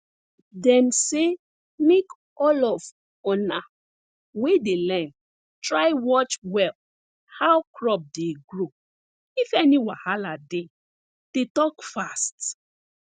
dem say make all of una we dey learn try watch well how crop dey grow if any wahala dey dey talk fast